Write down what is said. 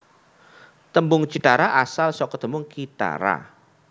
Tembung cithara asal saka tembung kithara